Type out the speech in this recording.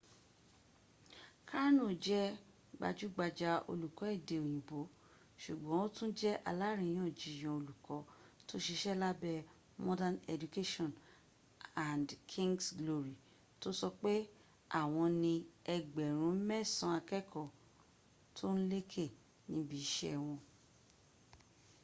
karno jẹ́ gbajúgbajà olùkọ́ èdè òyìnbó ṣùgbọ́n ó tún jẹ́ aláríyànjiyàn olùkọ́ tó ṣiṣẹ́ lábẹ́ modern education and king’s glory to sọpé àwọn ní ẹgbẹ̀rún mẹ́sàn-án akẹ́kọ̀ọ́ tó ń lékè níbi iṣẹ́ wọn